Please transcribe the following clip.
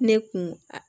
Ne kun a